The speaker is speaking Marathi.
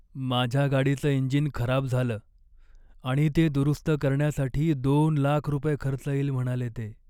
माझ्या गाडीचं इंजिन खराब झालं आणि ते दुरुस्त करण्यासाठी दोन लाख रुपये खर्च येईल म्हणाले ते.